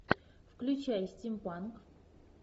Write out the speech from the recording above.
включай стимпанк